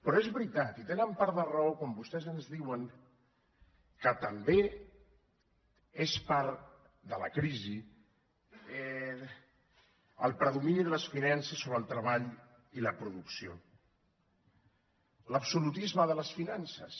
però és veritat i tenen part de raó quan vostès ens diuen que també és part de la crisi el predomini de les finances sobre el treball i la producció l’absolutisme de les finances